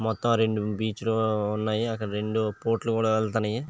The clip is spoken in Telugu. మొత్తం రెండు బీచ్ లు ఉన్నాయి. రెండు బొట్లు కూడా వెళ్తున్నాయి.